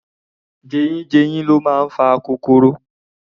Jeyínjeyín ni ó ń fa akokoro